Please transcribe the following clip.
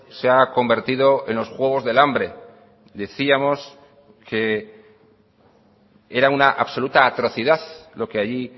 se ha convertido en los juegos del hambre decíamos que era una absoluta atrocidad lo que allí